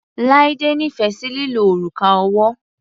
Laide nífẹ̀ sí lílo òrùka ọwọ́.